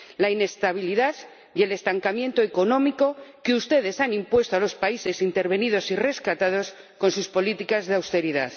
la inestabilidad y el estancamiento económico que ustedes han impuesto a los países intervenidos y rescatados con sus políticas de austeridad.